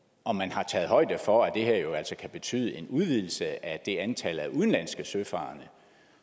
om man har taget højde for at det her jo altså kan betyde en udvidelse af det antal af udenlandske søfarende